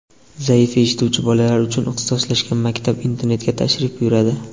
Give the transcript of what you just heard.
zaif eshituvchi bolalar uchun ixtisoslashgan maktab internatiga tashrif buyuradi.